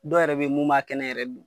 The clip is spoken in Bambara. Dɔw yɛrɛ be yen mun b'a kɛnɛ yɛrɛ dun.